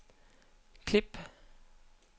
klip